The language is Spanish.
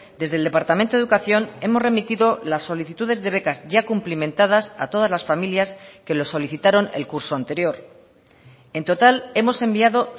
desde el departamento de educación hemos remitido las solicitudes de becas ya cumplimentadas a todas las familias que lo solicitaron el curso anterior en total hemos enviado